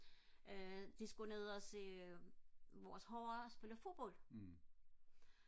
øh de skulle ned og se vores hold spille fodbold